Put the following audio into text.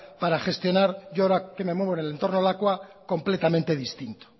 para gestionar y yo ahora que me mueve el entorno lakua completamente distinto